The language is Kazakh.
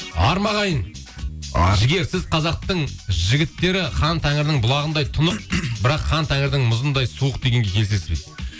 ар ма ағайын ар жігер сіз қазақтың жігіттері хан тәңірдің бұлағындай тұнық бірақ хан тәңірдің мұзындай суық дегенге келісесіз бе дейді